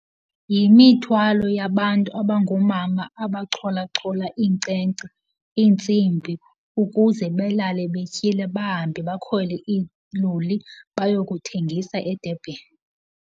Yimithwalo yabantu abangoomama abachochola iinkcenkce, iintsimbi ukuze belale betyile, bahambe bakhwele iiloli bayokuthengisa eDurban.